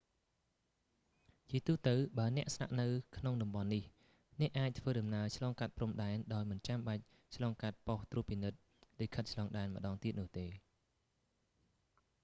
ជាទូទៅបើអ្នកស្នាក់នៅក្នុងតំបន់នេះ អ្នកអាចធ្វើដំណើរឆ្លងកាត់ព្រំដែនដោយមិនចាំបាច់ឆ្លងកាត់ប៉ុស្តិ៍ត្រួតពិនិត្យលិខិតឆ្លងដែនម្តងទៀតនោះទេ